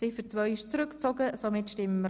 Ziffer 2 ist zurückgezogen.